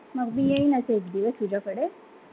मग मी येईन एक दिवस तुझ्याकडे